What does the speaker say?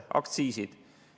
Aktsiisid.